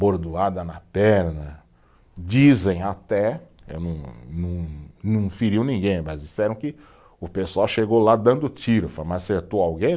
Bordoada na perna, dizem até, eh não, não, não feriu ninguém, mas disseram que o pessoal chegou lá dando tiro, mas acertou alguém?